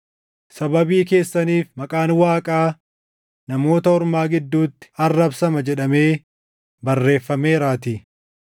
“Sababii keessaniif maqaan Waaqaa Namoota Ormaa gidduutti arrabsama” + 2:24 \+xt Isa 52:5; His 36:22\+xt* jedhamee barreeffameeraatii.